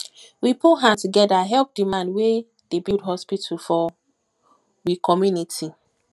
we put hand together help di man wey dey build hospital for we community